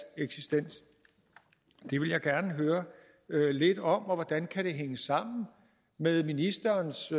eksistens det vil jeg gerne høre lidt om hvordan kan det hænge sammen med ministerens